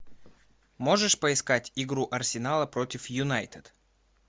можешь поискать игру арсенала против юнайтед